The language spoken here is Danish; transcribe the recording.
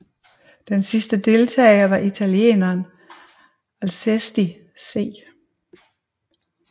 Den sidste deltager var italieneren Alcesti C